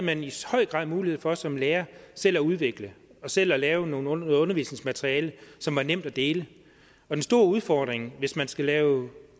man i høj grad mulighed for som lærer selv at udvikle og selv at lave noget undervisningsmateriale som var nemt at dele den store udfordring hvis man skal lave